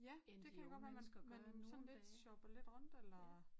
Ja det kan godt være man man sådan lidt shoppede lidt rundt eller